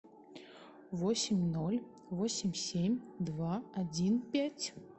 восемь ноль восемь семь два один пять